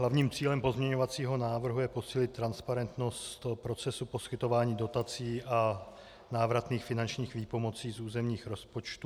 Hlavním cílem pozměňovacího návrhu je posílit transparentnost procesu poskytování dotací a návratných finančních výpomocí z územních rozpočtů.